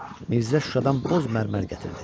Mirzə Şuşadan boz mərmər gətirdi.